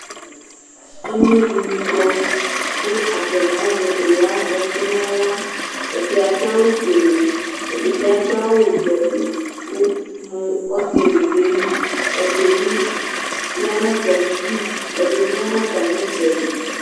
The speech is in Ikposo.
Emlo ɖɩnɩ kɔ ku atanɩ azɛ owu aya fɔtɩ naɣla Ɛɖɩ aɖu awu foele, ɛɖɩbɩ aɖu awu ɖuɛblɔ nu mu ́ɔtɩlɩ ɖu ayili Ɛɖɩɓɩ ya natamɩɖụ, ɛɖɩbɩ ya natamɩtsɛɖɩ